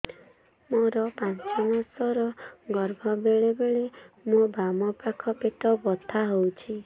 ମୋର ପାଞ୍ଚ ମାସ ର ଗର୍ଭ ବେଳେ ବେଳେ ମୋ ବାମ ପାଖ ପେଟ ବଥା ହଉଛି